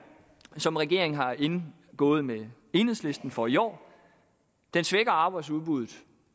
som regeringen har indgået med enhedslisten for i år svækker arbejdsudbuddet